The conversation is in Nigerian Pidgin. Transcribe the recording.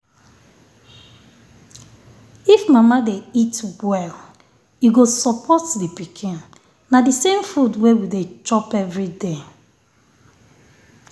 if mama dey eat well e go support the pikin. na the same food wey we dey chop every day.